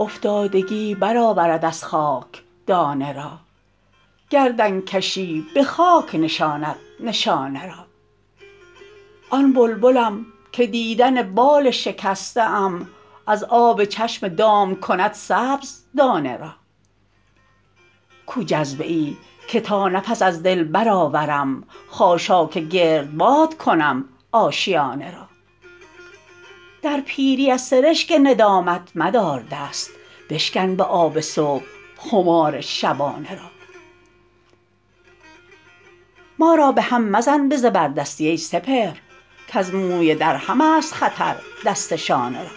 افتادگی برآورد از خاک دانه را گردنکشی به خاک نشاند نشانه را آن بلبلم که دیدن بال شکسته ام از آب چشم دام کند سبز دانه را کو جذبه ای که تا نفس از دل برآورم خاشاک گردباد کنم آشیانه را در پیری از سرشک ندامت مدار دست بشکن به آب صبح خمار شبانه را ما را بهم مزن به زبردستی ای سپهر کز موی درهم است خطر دست شانه را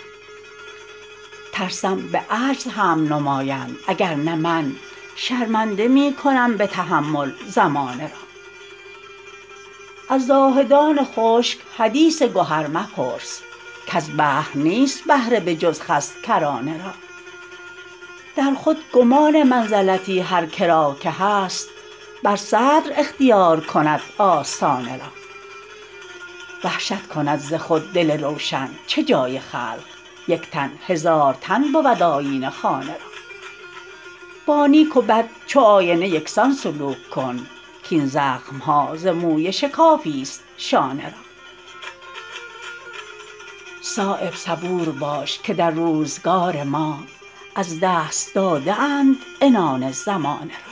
ترسم به عجز حمل نمایند اگر نه من شرمنده می کنم به تحمل زمانه را از زاهدان خشک حدیث گهر مپرس کز بحر نیست بهره به جز خس کرانه را در خود گمان منزلتی هر که را که هست بر صدر اختیار کند آستانه را وحشت کند ز خود دل روشن چه جای خلق یک تن هزار تن بود آیینه خانه را با نیک و بد چو آینه یکسان سلوک کن کاین زخم ها ز موی شکافی است شانه را صایب صبور باش که در روزگار ما از دست داده اند عنان زمانه را